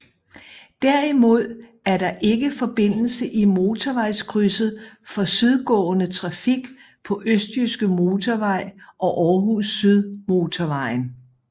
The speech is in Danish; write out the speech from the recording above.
Derimod er der ikke forbindelse i motorvejskrydset for sydgående trafik på Østjyske Motorvej og Aarhus Syd Motorvejen